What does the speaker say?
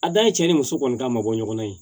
A dan ye cɛ ni muso kɔni ka mabɔ ɲɔgɔnna ye